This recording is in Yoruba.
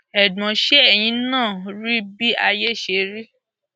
ẹgbọn ṣe ẹyin náà rí i bí ayé ṣe rí